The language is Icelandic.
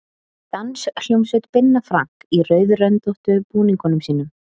Danshljómsveit Binna Frank í rauðröndóttu búningunum sínum.